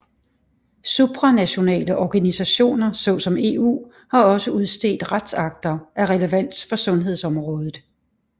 Supranationale organisationer såsom EU har også udstedt retsakter af relevans for sundhedsområdet